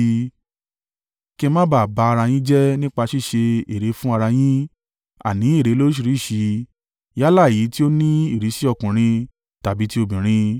kí ẹ ma ba à ba ara yín jẹ́ nípa ṣíṣe ère fún ara yín, àní ère lóríṣìíríṣìí yálà èyí tí ó ní ìrísí ọkùnrin tàbí tí obìnrin,